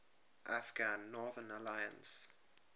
afghan northern alliance